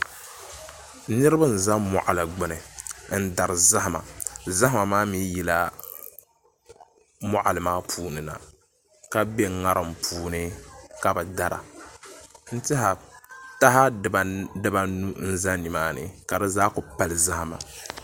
Niraba n ʒɛ moɣali gbuni n dari zahama zahama maa mii yila moɣali maa puuni na ka bɛ ŋarim puuni ka bi dara n tiɛha taha dibanu n ʒɛ nimaani ka di zaa ku pali zahama